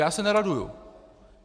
Já se neraduji.